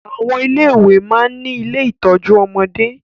Àwọn ilé ìwé máa ń ní ilé ìtọ́jú ọmọdé